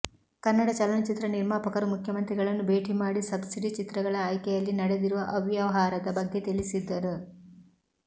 ಕನ್ನಡ ಚಲನಚಿತ್ರ ನಿರ್ಮಾಪಕರು ಮುಖ್ಯಮಂತ್ರಿಗಳನ್ನು ಭೇಟಿ ಮಾಡಿ ಸಬ್ಸಿಡಿ ಚಿತ್ರಗಳ ಆಯ್ಕೆಯಲ್ಲಿ ನಡೆದಿರುವ ಅವ್ಯಾವಹಾರದ ಬಗ್ಗೆ ತಿಳಿಸಿದ್ದರು